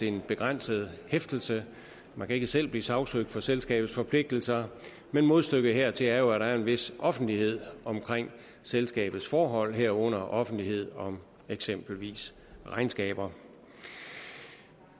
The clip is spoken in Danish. en begrænset hæftelse man kan ikke selv blive sagsøgt for selskabets forpligtelser men modstykket hertil er jo at der er en vis offentlighed om selskabets forhold herunder offentlighed om eksempelvis regnskaber